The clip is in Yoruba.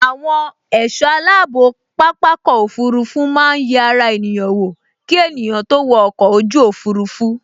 Àwọn ẹ̀sọ́ aláàbò pápákọ̀ òfurufú máa n yẹ ara ènìyàn wò ki ènìyàn tó wo ọkọ̀ ojú òfurufú